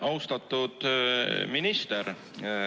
Austatud minister!